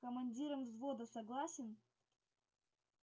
командиром взвода согласен